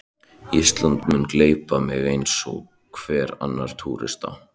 Ísland mun gleypa mig eins og hvern annan túrista.